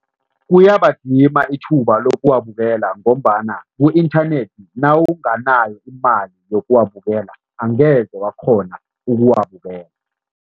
Kuyabadima ithuba lokuwabukela ngombana ku-inthanethi nawunganayo imali yokuwabukela, angeze wakghona ukuwabukela.